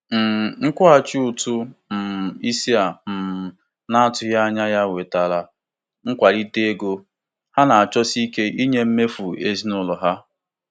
um Nkwụghachi ụtụ um isi a um na-atụghị anya ya wetara nkwalite ego ha na-achọsi ike nye mmefu ezinụlọ ha.